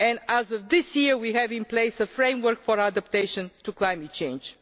As of this year, we have in place a framework for adapting to climate change.